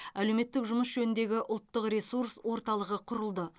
әлеуметтік жұмыс жөніндегі ұлттық ресурс орталығы құрылды